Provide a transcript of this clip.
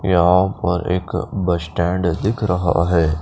यहाँ पर एक बस स्टैंड दिख रहा है।